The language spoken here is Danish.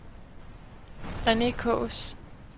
Rene Kaas